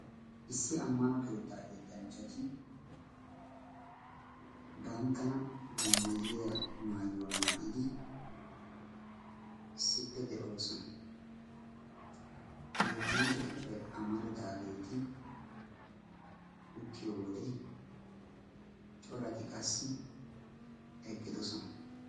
issi ammano keetaa yettanchchati banttana dommayiya maayuwaa maayidi issippe de7oosona ha yettanchchatuppe amaridaageeti uttiyo wode corati qassi eqqidosona